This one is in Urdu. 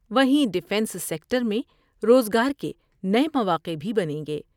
وہیں ڈفینس سیکٹر میں روزگار کے نئے مواقع بھی بنیں گے ۔